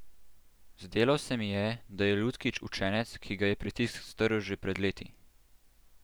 Zdelo se mi je, da je Lutkič učenec, ki ga je pritisk strl že pred leti.